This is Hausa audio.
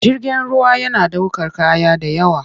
Jirgin ruwa yana ɗaukar kaya da yawa.